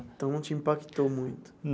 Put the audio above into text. Então, não te impactou muito?